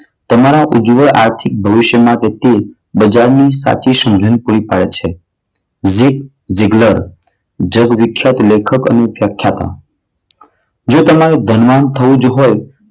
તમારા ઉજ્વળ આર્થિક ભવિષ્ય માટે બજાર ની સાચી સમજણ પૂરી પાડે છે. જીફ જીગ્લર જે વિકસત લેખક તરીકે પ્રખ્યાત હતા. જો તમારે ધનવાન થવું જ હોય,